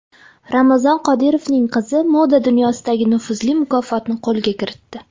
Ramzan Qodirovning qizi moda dunyosidagi nufuzli mukofotni qo‘lga kiritdi.